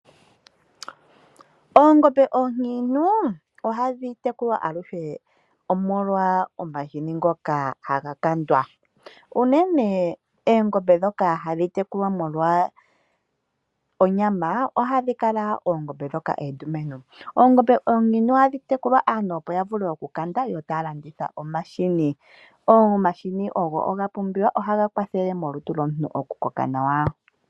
Oongombe oonkiintu ohadhi tekulwa aluhe omolwa omahini omahini ngoka haga kandwa. Oongombe ndhoka hadhi tekulwa molwa onyama unene ohadhi kala oondumentu. Oongombe oonkiintu ohadhi tekulwa opo aantu ya vule okukanda yo taya landitha omahini. Omahini oga pumbiwa, oshoka ohaga kwathele molutu lwomuntu okukoka nawa.